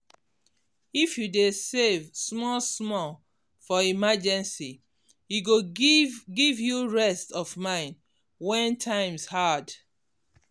if you dey save small small for emergency e go give give you rest of mind when times hard.